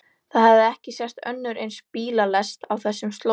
Það hafði ekki sést önnur eins bílalest á þessum slóðum.